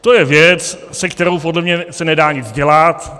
To je věc, se kterou podle mě se nedá nic dělat.